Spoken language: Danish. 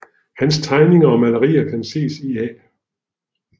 Hans tegninger og malerier kan ses i A